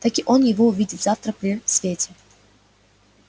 таки он его увидит завтра при свете